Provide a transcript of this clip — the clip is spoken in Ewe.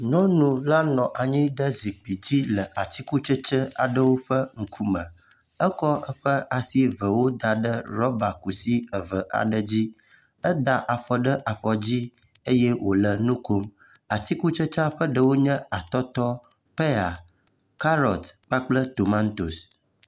Nyɔnu la nɔ anyi ɖe zikpui dzi le atikutsetse aɖewo ƒe ŋkume, etsɔ eƒe asi evewo da ɖe rɔba kusi eve aɖewo dzi. Eda afɔ ɖe afɔ dzi, eye wòle enu kom. Atikutsetsea ƒe ɖewo nye atɔtɔ, peya, karɔt kpakple tomatos.